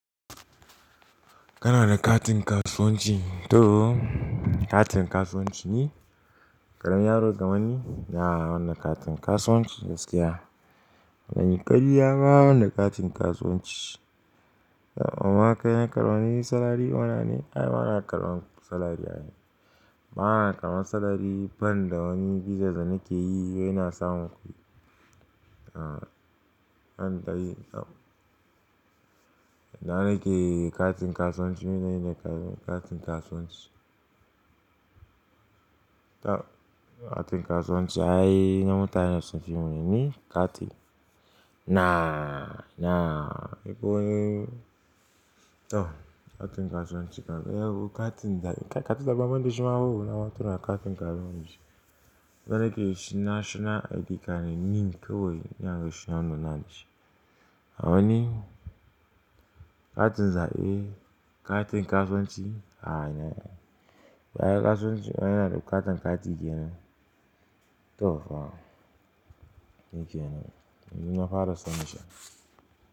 Kana da katin kasuwanci? To katin kasuwanci ni, ƙaramin yaro kammani ina bani katin kasuwanci gaskiya. Ba zanyi ƙarya ba bande katin kasuwanci. Amma kai salary earner ne? Ai bana karɓan salary ai bana karban salary banda wani business nake yi yana samun kuɗi. An dai yi abu ka rike katin kasuwanci katin kasuwanci. Tab katin kasuwanci ai na matunen da suke ni? Kati. Na, na, ko to katin kasuwanci ka yau katin za ka katu da baman dasu mawo na matuna katin kasuwanci. Dana ke yi shi National ID card ne, NIN ko wane yanar gashin anuna nashi. A wani katin zaɓe katin kasuwanci? A'a, na, ba ya kasuwanci ana da katun kati yake nan. To fa, shikenan nan yanzu na fara sanin shi.